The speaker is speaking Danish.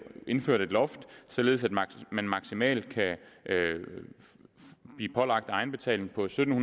indført et loft således at man maksimalt kan blive pålagt en egenbetaling på sytten